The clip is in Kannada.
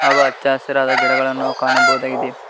ಹಾಗು ಹಚ್ಚ ಹಸಿರದ ಗಿಡಗಳನ್ನು ನಾವು ಕಾಣಬಹುದಾಗಿದೆ.